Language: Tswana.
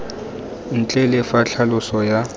ntle le fa tlhaloso ya